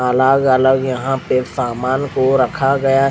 अलग अलग यहाँ पर सामना को रखा गया --